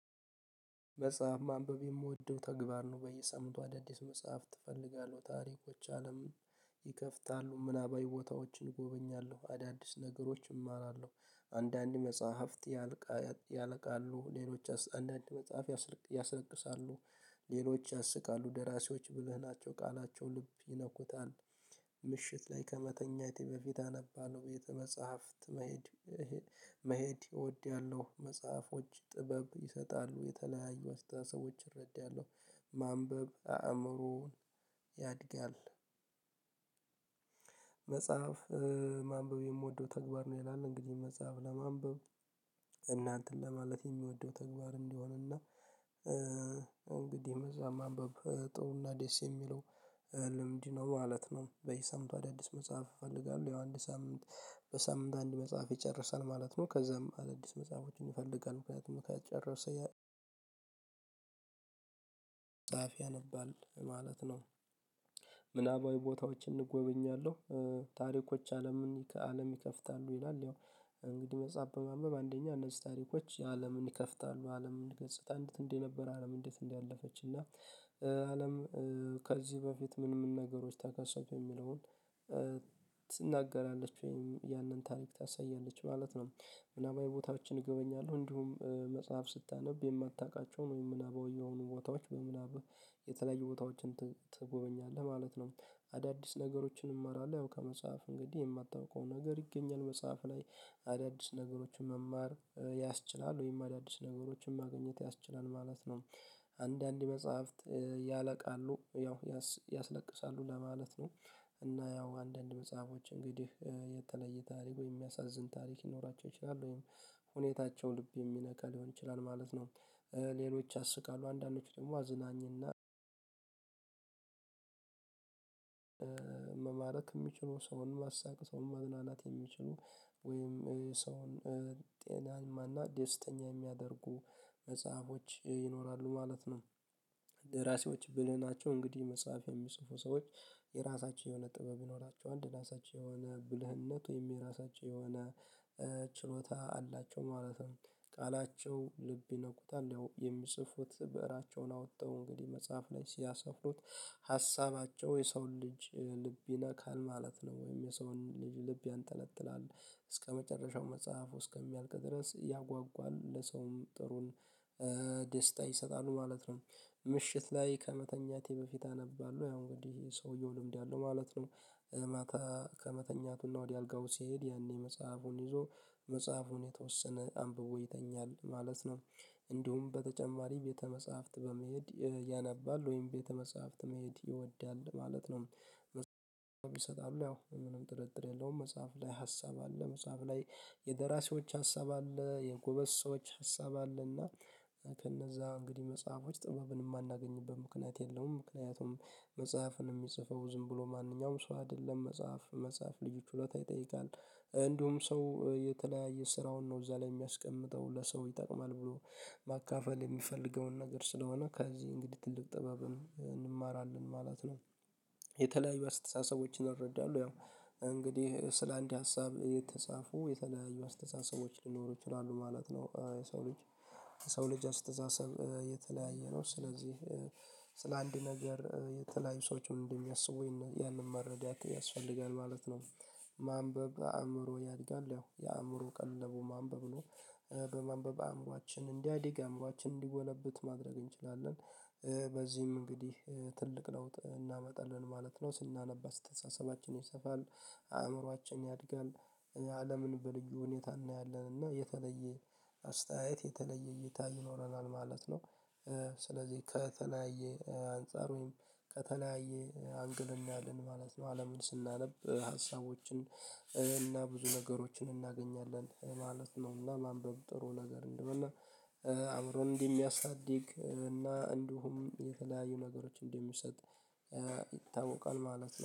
መጽሐፍ ማንበብ የምወደው ተግባር ነው። በየሰምቱ አዳዲስ መጽሐፍት እፈልጋለሁ። ታሪኮች አለም ምናባዊ ቦታዎችን እጎበኛለሁ አዳዲስ ነገሮችን እማራለሁ። አንዳንድ መጽሐፍት ያለቃ ያልቃሉ ሌሎች አንዳንድ መጽሐፍ ያስለቅሳሉ። ሌሎች ያስቃሉ ደራሲዎች ብልህ ናቸው። ቃላቸው ልብ ይነኩታል። ምሽት ላይ ከመተኛቴ በፊት አነባለሁ። ቤተ-መፃህፍት መሄድ መሄድ እወዳለሁ። መጽሐፎች ጥበብ ይሰጣሉ። የተለያዩ አስተሳሰቦች እረዳለሁ ማንበብ አእምሮን ያድጋል። መጽሐፍ ማንበብ የምወደው ተግባር ነው። ይላል እንግዲህ መጽሐፍ ለማንበብ እና እንትን ለማለት የሚወደው ተግባር እንደሆን እና እንግዲህ መፅሀፍ ማንበብ ጥሩና ዴስ የሚለው ልምድ ነው ማለት ነው። በየሳምንቱ ሰምቶ አዳዲስ መጽሐፍ እፈልጋለሁ። ያዋንድ ሳምንት በሳምንት አንድ መጽሐፍ ይጨርሳል። ማለት ነው ከዛም አዳዲስ መጽሐፎችን ይፈልጋል። ምክንያቱም ከጨረሰ ጻፍ ያነባል ማለት ነው። ምናባዊ ቦታዎችን እንጎበኛለሁ ታሪኮች አለምን አለም ይከፍታሉ። ይላል ያው እንግዲህ መፅሀፍ በማንበብ አንደኛ እነዚህ ታሪኮች የአለምን ይከፍታሉ አለምን ገጽታ እንዴት እንዴት ነበር። አለም እንዴት እንዴት እንዳለፈች እና አለም ከዚህ በፊት ምን ምን ነገሮች ተከሰቱ የሚለውን። ትናገራለች። ወይም ያንን ታሪክ ታሳያለች ማለት ነው ምናባዊ ቦታዎችን እጎበኛለሁ እንዲሁም መጽሐፍ ስታነብ የማታውቃቸውን ወይም ምናብ ወይም የሆኑ ቦታዎች በምናብ የተለየ ቦታዎችን ትጎበኛለህ ማለት ነው። አዳዲስ ነገሮችን እማራለሁ ያው ከመጽሐፍ እንግዲህ የማታውቀው ነገር ይገኛል። መጽሐፍ ላይ አዳዲስ ነገሮችን መማር ወይም አዳዲስ ነገሮችን ማግኘት ያስችላል ማለት ነው። አንዳንድ መጽሐፍት ያለቃሉ ያው ያስለቅሳሉ ለማለት ነው። እና ያው አንዳንድ መጽሐፎች እንግዲህ የተለየ ታሪክ ወይም የሚያሳዝን ታሪክ ይኖራቸው ይችላል። ወይም ሁኔታቸው ልብ የሚነካ ሊሆን ይችላል ማለት ነው። ሌሎች ያስቃሉ አንዳንዶቹ ደግሞ አዝናኝ እና መማረክ የሚችለው ሰውን ማሳቀስ ሰውን መድናናት የሚችሉ ወይም ሰውን ጤናማ እና ደስተኛ የሚያደርጉ መጽሐፎች ይኖራሉ ማለት ነው። ደራሲዎች ብልህ ናቸው እንግዲህ መጽሐፍ የሚጽፉ ሰዎች የራሳቸው የሆነ ጥበብ ይኖራቸዋል። የራሳቸው የሆነ ብልህነት ወይም የራሳቸው የሆነ ችሎታ አላቸው ማለት ነው። ቃላቸው ልብ ይነኩታል ያው የሚጽፉት ብእራቸውን አወጣው እንግዲህ መጽሐፍ ላይ ሲያሰፍሩት ሀሳባቸው የሰው ልጅ ልብ ይነካል ማለት ነው። ወይም የሰውን ልብ ያንጠለጥላል። እስከመጨረሻው መጽሐፍ እስከሚያልቅ ድረስ ያጓጓል ለሰውም ጥሩን ደስታ ይሰጣሉ ማለት ነው። ምሽት ላይ ከመተኛቴ በፊት አነባለሁ። ያው እንግዲህ ሰውየው ልምድ ያለው ማለት ነው። ከመተኛቱና ወደ አልጋው ሲሄድ ያኔ መጽሐፉን ይዞ መጽሐፉን የተወሰነ አንብቦ ይተኛል ማለት ነው። እንዲሁም በተጨማሪ ቤተ መጽሐፍት በመሄድ ያነባል ወይም ቤተ መጽሐፍት መሄድ ይወዳል። ማለት ነው ያው የምንም ጥርጥር የለውም መጽሐፍ ላይ ሀሳብ አለ መጽሐፍ ላይ የደራሲዎች ሀሳብ አለ የጎበዝ ሰዎች ሀሳብ አለና ከነዛ እንግዲህ መጽሐፎች ጥበብን የማናገኝበት ምክንያት የለውም ምክንያቱም መጽሐፍን የሚጽፈው ዝም ብሎ ማንኛውም ሰው አይደለም። መጽሐፍ መጽሐፍ ልዩ ችሎታ ይጠይቃል። እንዲሁም ሰው የተለያየ ስራውን ነው እዛ ላይ የሚያስቀምጠው ለሰው ይጠቅማል ብሎ ማካፈል የሚፈልገውን ነገር ስለሆነ ከዚህ እንግዲህ ትልቅ ጥበብን እንማራለን ማለት ነው። የተለያዩ አስተሳሰቦችን እረዳለሁ ያው እንግዲህ ስለ አንድ ሀሳብ የተጻፉ የተለያዩ አስተሳሰቦች ሊኖሩ ይችላሉ። ማለት ነው የሰው ልጅ የሰው ልጅ አስተሳሰብ የተለያየ ነው ስለዚህ ስለ አንድ ነገር የተለያዩ ሰዎችን እንደሚያስቡኝ ያንን መረዳት ያስፈልጋል ማለት ነው። ማንበብ አእምሮ ያድጋል ያው የአእምሮ ቀለቡ ማንበብ ነው በማንበብ አእምሯችን እንዲያድግ አእምሯችን እንዲጎለብት ማድረግ እንችላለን። በዚህም እንግዲህ ትልቅ ለውጥ እናመጣለን። ማለት ነው ስናነባ አስተሳሰባችን ይሰፋል አእምሮአችን ያድጋል። አለምን በልዩ ሁኔታ እናያለን እና የተለየ አስተያየት የተለየ እይታ ይኖረናል ማለት ነው። ስለዚህ ከተለያየ አንፃር ወይም ከተለያየ አንግል እናያለን ማለት ነው። አለምን ስናነብ ሀሳቦችን እና ብዙ ነገሮችን እናገኛለን ማለት ነው። እና ማንበብ ጥሩ ነገር እንደሆነ እና አምሮን እንደ ሚያሳድግ እና እንዲሁም የተለያዩ ነገሮች እንደሚሰጥ ይታወቃል ማለት ነው።